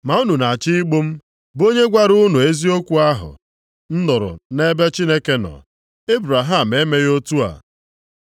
Ma unu na-achọ igbu m, bụ onye gwara unu eziokwu ahụ m nụrụ nʼebe Chineke nọ. Ebraham emeghị otu a.